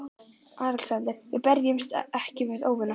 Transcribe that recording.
ALEXANDER: Við berjumst ekki við óvini okkar.